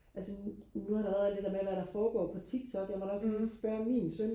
altså nu har der været alt det der med hvad der foregår på TikTok jeg måtte da også lige spørge min søn